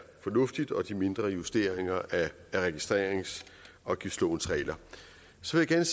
fornuftig og også de mindre justeringer af registreringsafgiftslovens regler så vil jeg